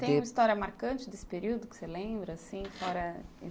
E tem uma história marcante desse período que você lembra, assim? Fora...